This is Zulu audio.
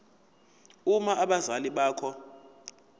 uma abazali bakho